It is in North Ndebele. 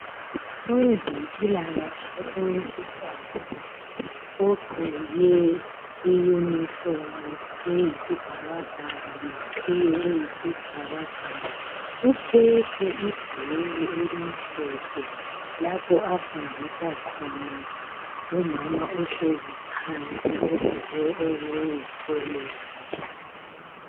Owezempilakahle owesifazana ogqqoke I uniform eyisibhakabhaka leqhiye eyisibhakabhaka uphethe ibhuku elimhlophe lapho abafundisa khona ngumama ohlezi phansi ogqqoke okuyi olenji